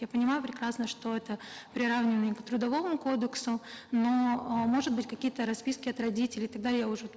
я понимаю прекрасно что это приравнивание к трудовому кодексу но э может быть какие то расписки от родителей тогда я уже